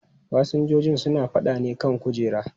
Fasinjojin suna faɗa ne kan kujera.